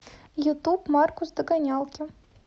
ютуб маркус догонялки